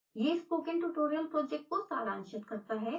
यह spoken tutorial project को सारांशित करता है